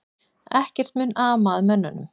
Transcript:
Ekkert mun ama að mönnunum